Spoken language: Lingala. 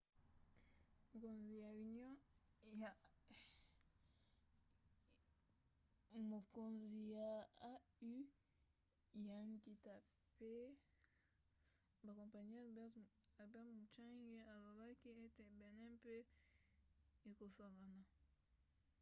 mokonzi ya au ya nkita mpe bakompani albert muchange alobaki ete benin mpe ekosangana